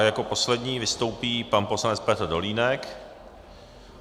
A jako poslední vystoupí pan poslanec Petr Dolínek.